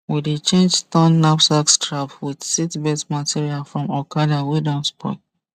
we dey change torn knapsack strap with seatbelt material from okada wey don spoil